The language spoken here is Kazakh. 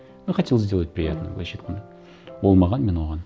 ну хотелось сделать приятное мхм былайша айтқанда ол маған мен оған